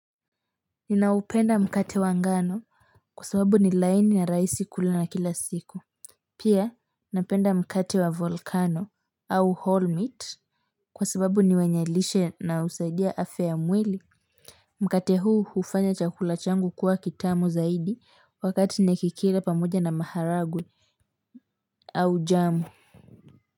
Ninaupenda mkate wa ngano, kwa sababu ni laini na rahisi kula na kila siku pia napenda mkate wa volcano au whole meat kwa sababu ni wenye lishe na husaidia afya ya mwili mkate huu hufanya chakula changu kuwa kitamu zaidi, wakati nikikile pamoja na maharagwe au jamu.